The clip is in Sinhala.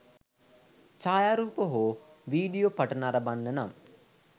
ඡායාරූප හෝ වීඩියෝ පට නරඹන්න නම්